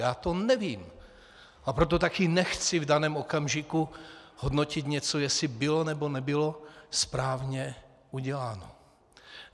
Já to nevím, a proto také nechci v daném okamžiku hodnotit něco, jestli bylo nebo nebylo správně uděláno.